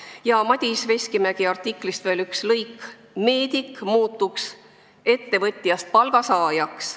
Veel Madis Veskimägi sõnad: "Meedik muutuks ettevõtjast palgasaajaks.